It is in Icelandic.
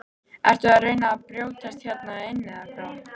Ertu að reyna að brjótast hérna inn eða hvað!